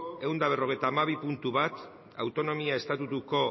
ehun eta berrogeita hamabi puntu bat autonomia estatutuko